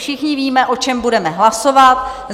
Všichni víme, o čem budeme hlasovat.